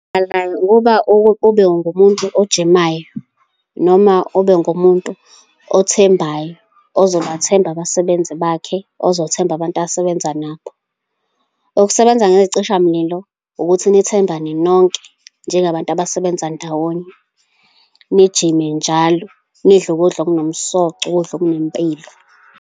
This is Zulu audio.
Ukube ube ngumuntu ogijimayo, noma ube ngumuntu othembayo, ozobathemba abasebenzi bakhe, ozobathemba abantu asebenza nabo. Ukusebenza ngecishamlilo ukuthi nithembane nonke, njengabantu abasebenza ndawonye, nijime njalo, nidle ukudla okunomsoco, ukudla okunempilo.